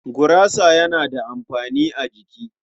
Gurasa yana da amfani a jiki.